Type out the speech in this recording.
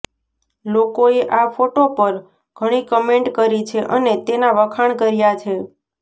લોકોએ આ ફોટો પર ઘણી કમેન્ટ કરી છે અને તેના વખાણ કર્યા છે